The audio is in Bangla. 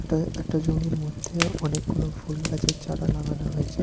এটা একটা জমির মধ্যে অনেকগুলো ফুল গাছে চারা লাগানো হয়েছে।